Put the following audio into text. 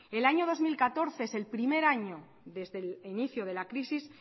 el año dos mil catorce es el primer año desde el inicio de la crisis